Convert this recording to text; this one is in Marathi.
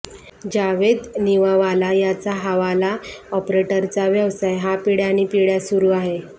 जावेद नवीवाला याचा हवाला ऑपरेटरचा व्यवसाय हा पिढय़ान्पिढय़ा सुरू आहे